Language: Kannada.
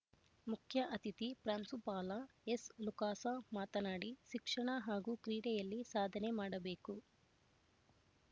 ಮುಖ್ಯ ಅತಿಥಿ ಪ್ರಾಂಶುಪಾಲ ಎಸ್ ಲೂಕಾಸ ಮಾತನಾಡಿ ಶಿಕ್ಷಣ ಹಾಗೂ ಕ್ರೀಡೆಯಲ್ಲಿ ಸಾಧನೆ ಮಾಡಬೇಕು